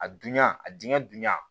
A dunya a diŋɛ dunya